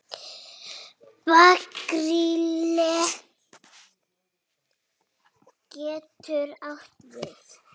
Gabríel getur átt við